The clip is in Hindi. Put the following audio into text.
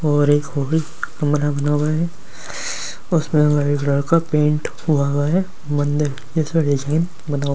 और एक कमरा बना हुआ है उसमें का पेंट हुआ हुआ है मंदिर जिसा डिजाइन बना हुआ --